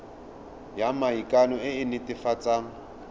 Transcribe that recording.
ya maikano e e netefatsang